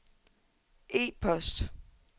e-post